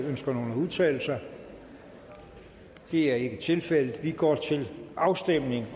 ønsker nogen at udtale sig det er ikke tilfældet og vi går til afstemning